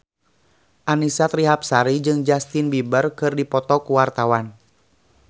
Annisa Trihapsari jeung Justin Beiber keur dipoto ku wartawan